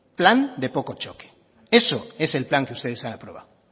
plan de poco choque eso es el plan que ustedes han aprobado